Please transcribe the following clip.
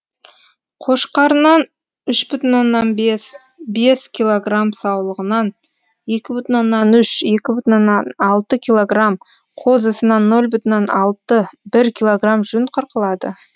қошқарынан үш бүтін оннан бес бес килограмм саулығынан екі бүтін оннан үш екі бүтін оннан алты килограмм қозысынан нөл бүтін оннан алты бір килограмм жүн қырқылады